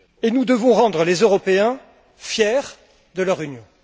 Nous devons rendre les Européens fiers de leur Union.